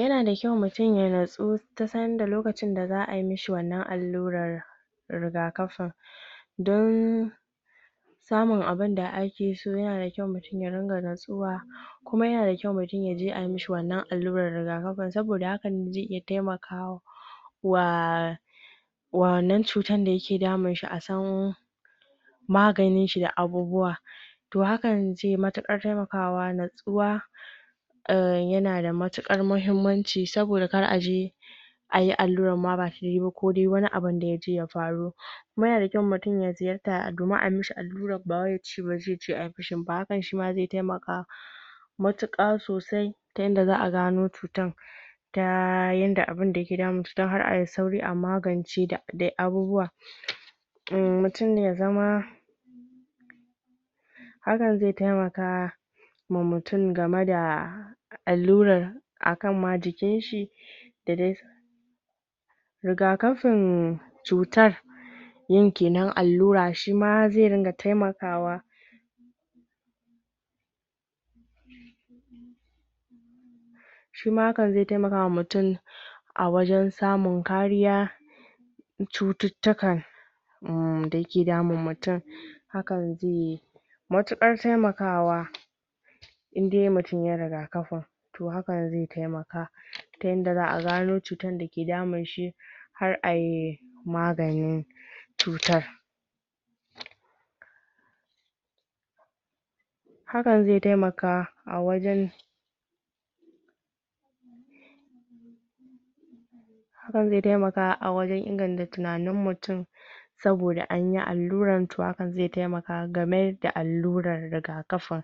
Yana da kyau mutum ya nutsu? lokacin da za ayi mishi wannan allurar rigakafin, don samun abinda ake so. Yana da kyau mutum ya ringa nutsuwa, kuma yana da kyau mutum yaje ayi mishi wannan allurar rigakafin, saboda hakan zai iya taimakawa? wannan cutar da ya ke damunshi, a san maganin shi da abubuwa. To hakan zai yi matuƙar taimakawa. Nutsuwa;? yana da mutuƙar muhimmanci saboda kar a je ayi allurar ma ba tayi ba, ko dai wani abun da yaje ya faru. yana da kyau mutum ya ziyarta domin ayi mishi allurar, ba wai ya ce ba zai je ayi mishi ba, hakan shi ma zai taimaka matuƙa sosai, ta yanda za a gano cutar, ta yanda abinda ke damun shi za ayi sauri a magance da dai abubuwa.? Hakan zai taimaka ma mutum game da allurar, a kan ma jikin shi.? Rigakafin cutar: yin kenan allura; shi ma zai dinga taimakawa,? a wajen samun kariya cututtukar,? da ya ke damun mutum. Hakan zai matukar taimakawa, indai mutum yayi rigakafin. To hakan zai taimaka, ta yanda za a gano cutar da ke damun shi, har ayi maganin cutar. Hakan zai taimaka a wajen? inganta tunanin mutum, saboda anyi allurar, to hakan zai taimaka game da allurar rigakafin.?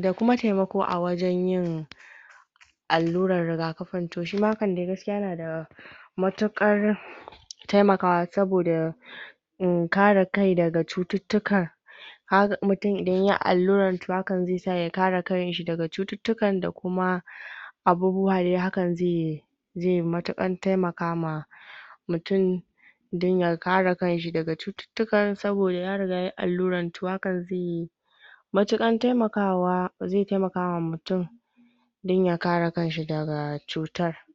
da kuma taimako a wajen yin allurar rigakafin, to shi ma hakan dai gaskiya yana da matuƙar taimakawa, saboda? ka re kai daga cututtuka. Kaga mutum idan yayi allurar, to hakan zai sa ya ka re kan shi daga cututtukan, da kuma abubuwa dai. Hakan zai? matuƙar taimaka ma mutum, don ya ka re kan shi daga cututtukan, saboda ya riga yayi allurar. To hakan zai? zai taimakawa mutum don ya ka re kan shi daga cutar.